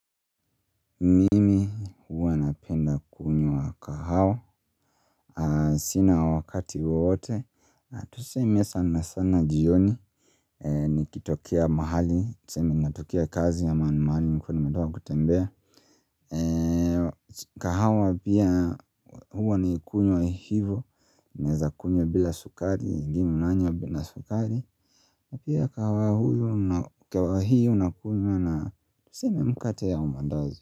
Mimi huwa napenda kunywa kahawa sina wakati wowote na tuseme sana sana jioni Nikitokea mahali tuseme natokea kazi ama ni mahali nilikuwa nimetoka kutembea kahawa pia huwa nikikunywa hivo naeza kunywa bila sukari ingine unanywa na sukari pia kahawa huyo una kahawa hio unakunywa na tuseme mkate au maandazi.